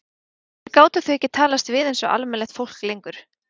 Af hverju gátu þau ekki talast við einsog almennilegt fólk lengur?